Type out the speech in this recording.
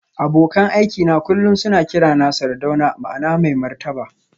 Abokan aikina kullum suna kirana Sardauna ma'ana mai martaba